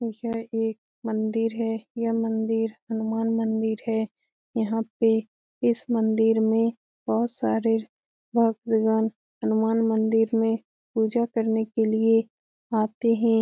इसमें एक मंदिर है यह मंदिर हनुमान मंदिर है यहाँ पे इस मंदिर में बहुत सारे भक्त भगवान हनुमान मंदिर में पूजा करने के लिए आते हैं।